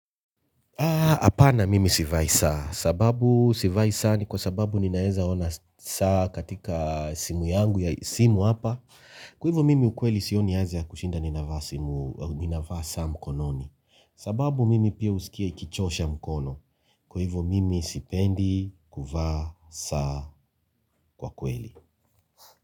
Hapana mimi sivai saa. Sababu sivai saa ni kwa sababu ninaweza ona saa katika simu yangu ya simu hapa. Kwa hivyo mimi ukweli sioni haja ya kushinda ninavaa simu, ninavaa saa mkononi. Sababu mimi pia husikia ikichosha mkono. Kwa hivyo mimi sipendi kuvaa saa kwa kweli.